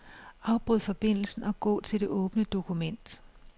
Afbryd forbindelsen og gå til det åbne dokument.